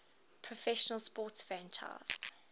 professional sports franchise